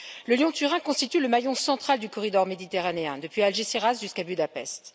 Le Lyon Turin constitue le maillon central du corridor méditerranéen depuis Algésiras jusqu'à Budapest.